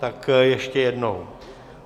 Tak ještě jednou.